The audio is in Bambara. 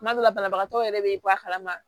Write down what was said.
Kuma dɔ la banabagatɔ yɛrɛ bɛ bɔ a kalama